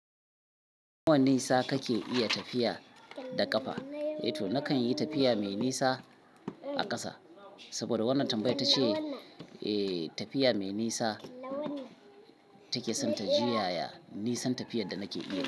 Nawa nisa kake iya tafiya da ƙafa? Eh to nakan yi tafiya mai nisa a ƙasa saboda wannan tambayar ta ce tafiya mai nisa take son ta jiyaya nisan tafiyar da nake iya.